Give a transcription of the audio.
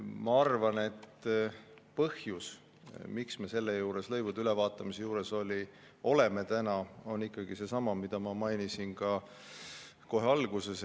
Ma arvan, et põhjus, miks me praegu lõivude ülevaatamise juures oleme, on ikkagi seesama, mida ma mainisin kohe alguses.